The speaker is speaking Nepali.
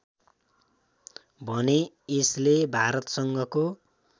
भने यसले भारतसँगको